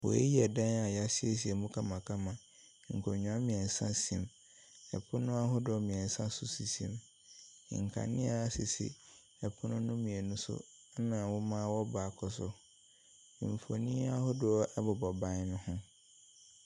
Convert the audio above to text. Wei yɛ dan a yɛaseisie mu kamakama. Nkonnwa mmiɛnsa si mu, pono ahodoɔ mmiɛnsa nso sisi mu, nkanea sisi pono no mmienu so, na nwoma wɔ baako so. Mfonini ahodoɔ ɛbobɔ ban ne ho.